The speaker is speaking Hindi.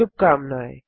शुभकामनाएँ